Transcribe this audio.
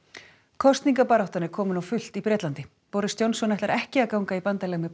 kosningabaráttan er komin á fullt í Bretlandi boris Johnson ætlar ekki að ganga í bandalag með